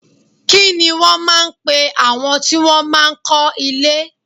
Kini wọn máa ń pe àwọn tí wọn máa ń kọ́ ilé?